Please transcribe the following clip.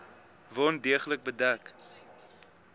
wond deeglik bedek